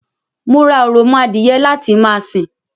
Mo ra òròmọ adìye láti ma sìn